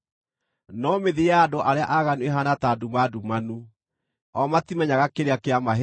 No mĩthiĩre ya andũ arĩa aaganu ĩhaana ta nduma ndumanu; o matimenyaga kĩrĩa kĩamahĩnga.